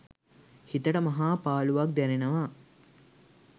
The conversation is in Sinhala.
හිතට මහා පාළුවක් දැනෙනවා.